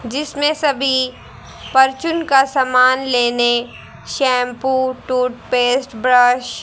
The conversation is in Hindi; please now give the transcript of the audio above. जिसमें सभी परचून का सामान लेने शैंपू टूथपेस्ट ब्रश --